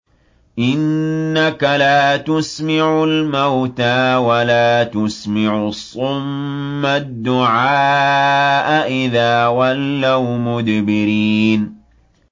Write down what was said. إِنَّكَ لَا تُسْمِعُ الْمَوْتَىٰ وَلَا تُسْمِعُ الصُّمَّ الدُّعَاءَ إِذَا وَلَّوْا مُدْبِرِينَ